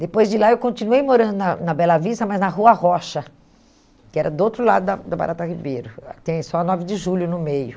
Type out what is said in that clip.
Depois de lá, eu continuei morando na na Bela Vista, mas na Rua Rocha, que era do outro lado da da Barata Ribeiro, tem só a nove de Julho no meio.